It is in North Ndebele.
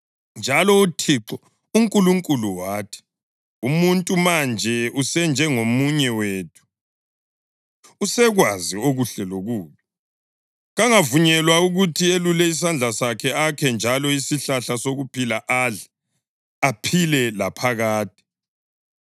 Njalo uThixo uNkulunkulu wathi, “Umuntu manje usenjengomunye wethu, usekwazi okuhle lokubi. Kangavunyelwa ukuthi elule isandla sakhe akhe njalo isihlahla sokuphila adle, aphile laphakade.”